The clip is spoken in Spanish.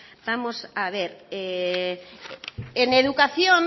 vamos a ver en educación